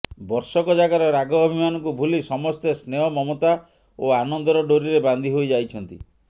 ବର୍ଷକଯାକର ରାଗ ଅଭିମାନକୁ ଭୁଲି ସମସ୍ତେ ସ୍ନେହ ମମତା ଓ ଆନନ୍ଦର ଡ଼ୋରିରେ ବାନ୍ଧି ହୋଇଯାଇଛନ୍ତି